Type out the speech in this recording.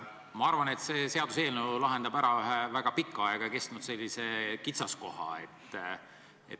Ma arvan, et see seaduseelnõu lahendab ära ühe väga pikka aega kestnud kitsaskoha.